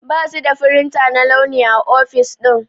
Basu da firinta na launi a ofis ɗin.